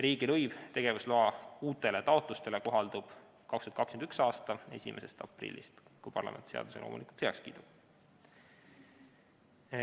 Riigilõiv tegevusloa uutele taotlustele kohaldub 2021. aasta 1. aprillist – loomulikult siis, kui parlament seaduse heaks kiidab.